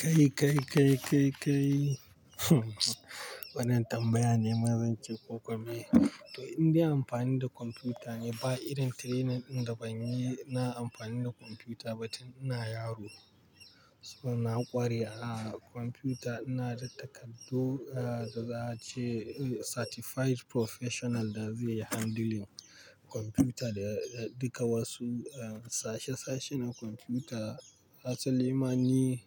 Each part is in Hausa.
Kai, kai, kai, kai, kai. Wannan tambaya ne ma zan ce ko ko me. To, in dai amfani da kwamfuta ne ba irin training ɗin da ban yi na amfani da kwamfuta ba tun ina yaro. So na ƙware a kwamfuta, ina da takardu, ah, da za a ce, eh, certified professional da zai yi handling kwamfuta da, da duka wasu, en, sashe-sashe na kwamfuta. Hasa limani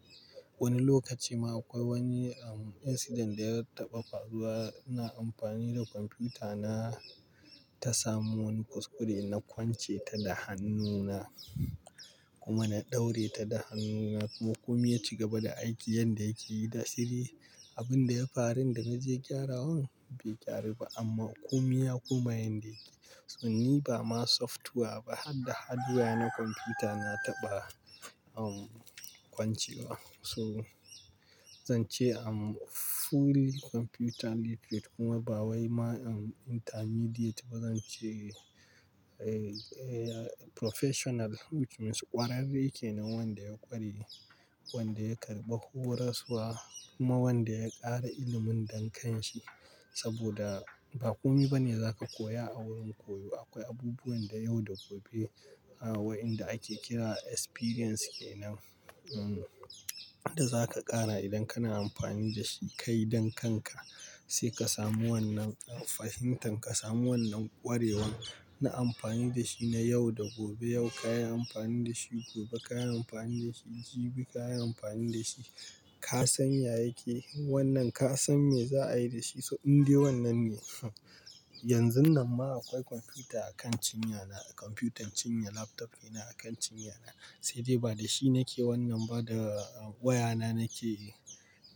wani lokaci ma akwai wani, en, incident da ya taɓa faruwa. Na amfani da kwamfuta na ta samu wani kuskure na kwance ta da hannuna kuma na ɗaure ta da hannuna kuma ko miya ci gaba da aiki yanda yake da saidai. Abin da ya farin da na je gyarawan bai gyaru ba amma ku miya kuma yanda yake. So ni ba ma software ba har da hardware na kwamfuta na taɓa, en, kwancewa. So zan ce, am, fully computer literate kuma ba wai ma, en, intermediate ba. Zan ce, eh, eh, professional which means ƙwararre kenan wanda ya ƙware, wanda ya karɓi horaswa kuma wanda ya ƙara ilimin dankanshi. Saboda ba kome bane za ka koya a wurin koyo. Akwai abubuwan da yau da gobe, ah, wa'inda ake kira experience kenan, en, da za ka ƙara idan kana amfani da shi kai dankanka sai ka samu wannan, en, fahimtar ka samu wannan ƙwarewan na amfani da shi na yau da gobe. Yau ka yi amfani da shi, gobe ka yi amfani da shi, jibi ka yi amfani da shi. Ka san ya yake wannan, ka san me za a yi da shi. So in dai wannan ne. Yanzun nan ma akwai kwamfuta a kan cinyana. Kwamfutar cinya laptop yana a kan cinyana. Sai dai ba da shi nake wannan ba da wayana nake,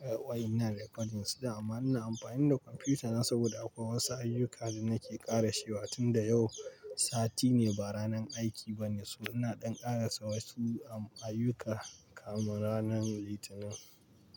eh, waya inan re cording s din amma ina amfani da kwamfutana saboda akwai wasu ayyuka da nake ƙara she wa tunda yau sati ne ba ranar aiki ba ne. So ina ɗan ƙara sa wasu, en, ayyuka kamin ranar Litinin.